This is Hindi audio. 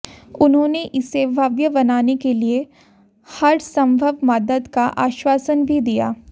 उन्होंने इसे भव्य बनाने के लिए हरसम्भव मदद का आश्वासन भी दिया